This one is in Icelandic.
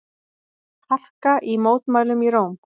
Harka í mótmælum í Róm